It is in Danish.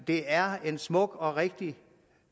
det er en smuk og rigtig